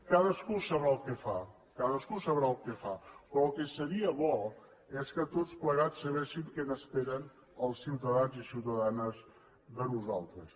cadascú sabrà el que fa cadascú sabrà el que fa però el que seria bo és que tots plegats sabessin què n’esperen els ciutadans i ciutadanes de nosaltres